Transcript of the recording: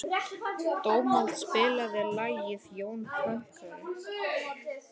Dómald, spilaðu lagið „Jón Pönkari“.